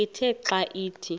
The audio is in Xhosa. ithe xa ithi